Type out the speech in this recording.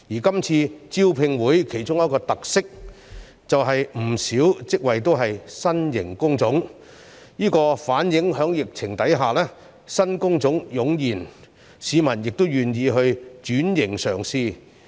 今次招聘會其中一個特色，便是不少職業均為新型工種，反映在疫情下新工種湧現，市民亦願意轉型嘗試。